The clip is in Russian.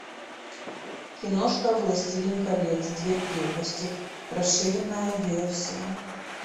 киношка властелин колец две крепости расширенная версия